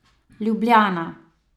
Ljubljana.